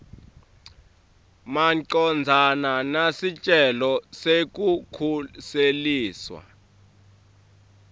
macondzana nesicelo sekukhuseliswa